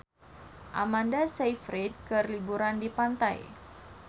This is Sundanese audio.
Amanda Sayfried keur liburan di pantai